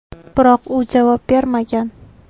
Biroq u javob bermagan.